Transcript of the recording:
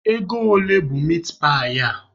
Ego ole bụ mitpaị a?